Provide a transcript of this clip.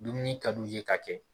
Dumuni kad'u ye ka kɛ